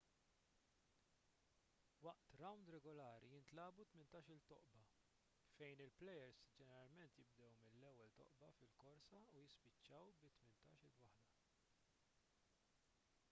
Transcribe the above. waqt rawnd regolari jintlagħbu tmintax-il toqba fejn il-plejers ġeneralment jibdew mill-ewwel toqba fil-korsa u jispiċċaw bit-tmintax-il waħda